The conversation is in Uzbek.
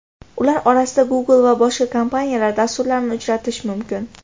Ular orasida Google va boshqa kompaniyalar dasturlarini uchratish mumkin.